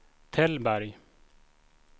Tällberg